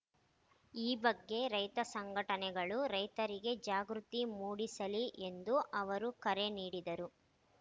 ಈ ಬಗ್ಗೆ ರೈತ ಸಂಘಟನೆಗಳು ರೈತರಿಗೆ ಜಾಗೃತಿ ಮೂಡಿಸಲಿ ಎಂದು ಅವರು ಕರೆ ನೀಡಿದರು